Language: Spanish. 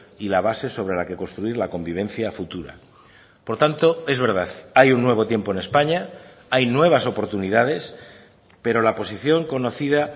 y la base sobre la que construir la convivencia futura por tanto es verdad hay un nuevo tiempo en españa hay nuevas oportunidades pero la posición conocida